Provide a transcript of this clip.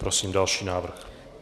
Prosím další návrh.